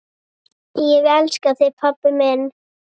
Ég elska þig pabbi minn.